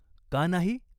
का नाही?